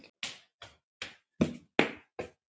Þín Ósk.